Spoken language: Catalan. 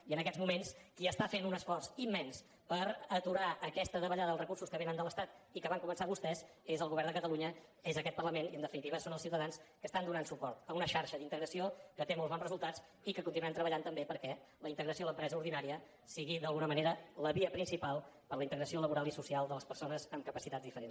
i en aquests moments qui està fent un esforç immens per aturar aquesta davallada dels recursos que vénen de l’estat i que van començar vostès és el govern de catalunya és aquest parlament i en definitiva són els ciutadans que estan donant suport a una xarxa d’integració que té molt bons resultats i que continuem treballant també perquè la integració a l’empresa ordinària sigui d’alguna manera la via principal per a la integració laboral i social de les persones amb capacitats diferents